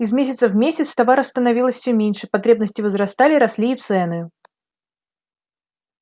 из месяца в месяц товаров становилось все меньше потребности возрастали росли и цены